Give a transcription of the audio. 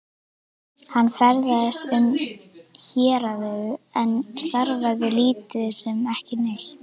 Hann ferðaðist um héraðið en starfaði lítið sem ekki neitt.